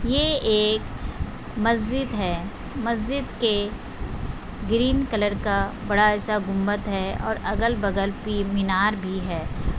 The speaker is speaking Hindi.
ये एक मस्जिद हैं मस्जिद के ग्रीन कलर का बड़ा-सा गुम्मद हैं और अगल-बगल पि मीनार भी हैं।